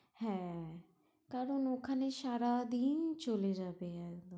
হ্যাঁ কারণ ওখানে সারাদিন চলে যাবে একদম